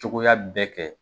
Cogoya bɛ kɛ